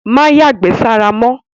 Má yàgbẹ́ sára mọ́!